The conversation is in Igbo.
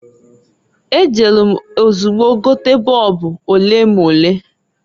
E jelu m ozugbo gote boobu olemole.